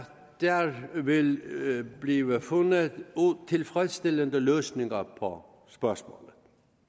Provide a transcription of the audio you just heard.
der vil blive fundet tilfredsstillende løsninger på spørgsmålet